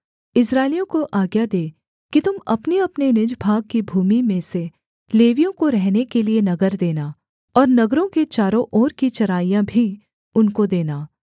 इस्राएलियों को आज्ञा दे कि तुम अपनेअपने निज भाग की भूमि में से लेवियों को रहने के लिये नगर देना और नगरों के चारों ओर की चराइयाँ भी उनको देना